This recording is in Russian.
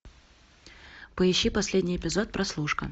поищи последний эпизод прослушка